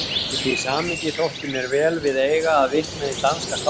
Í því samhengi þótti mér vel við eiga að vitna í danska skáldið